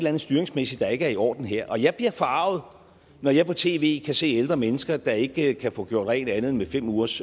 andet styringsmæssigt der ikke er i orden her jeg bliver forarget når jeg på tv kan se ældre mennesker der ikke ikke kan få gjort rent andet end med fem ugers